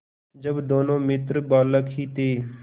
जब दोनों मित्र बालक ही थे